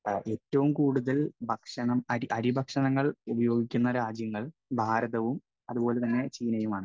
Speaker 1 ഏറ്റവും കൂടുതൽ ഭക്ഷണം, അരിഭക്ഷണങ്ങൾ ഉപയോഗിക്കുന്ന രാജ്യങ്ങൾ ഭാരതവും അതുപോലെതന്നെ ചീനയുമാണ്.